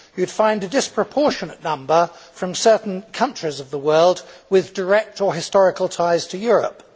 You would find a disproportionate number from certain countries of the world with direct or historical ties to Europe.